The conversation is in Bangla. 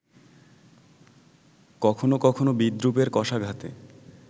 কখনো কখনো বিদ্রূপের কশাঘাতে